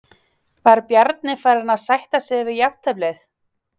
Var Bjarni farinn að sætta sig við jafnteflið?